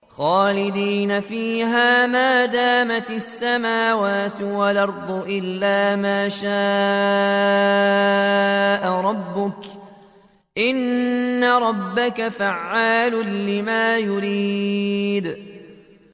خَالِدِينَ فِيهَا مَا دَامَتِ السَّمَاوَاتُ وَالْأَرْضُ إِلَّا مَا شَاءَ رَبُّكَ ۚ إِنَّ رَبَّكَ فَعَّالٌ لِّمَا يُرِيدُ